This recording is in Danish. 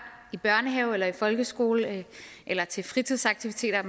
i børnehave eller i folkeskole eller til fritidsaktiviteter